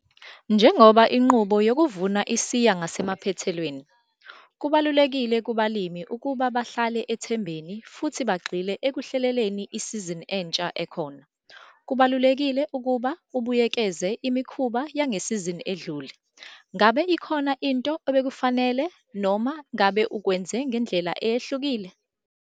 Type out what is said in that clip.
Njengoba inqubo yokuvuna isiya ngasemaphethelweni, kubalulekile kubalimi ukuba bahlale ethembeni futhi bagxile ekuhleleleni isizini entsha ekhona. Kubalulekile ukuba ubuyekeze imikhuba yangesizini edlule. Ngabe ikhona into ebekufanele noma ngabe ukwenze ngendlela eyahlukile?